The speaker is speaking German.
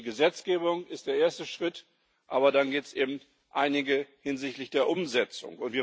Denn die Gesetzgebung ist der erste Schritt, aber dann gibt es eben einige Schritte hinsichtlich der Umsetzung.